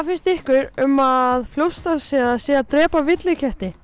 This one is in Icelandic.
finnst ykkur um að Fljótsdalshérað sé að drepa villiketti